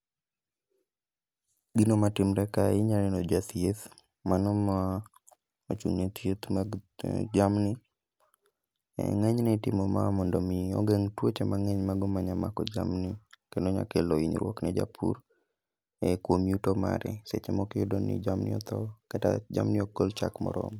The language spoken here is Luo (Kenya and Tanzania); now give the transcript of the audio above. Gino matimre kae inya neno jathieth mano ma mochung'ne thieth mag jamni. Ng'enyne itimo ma mondo mi ogeng' tuoche mang'eny mago manya mako jamni, kendo nya kelo hinyruok ne japur kuom yuto mare. Seche moko iyudo ni jamni otho kata jamni ok gol chak moromo.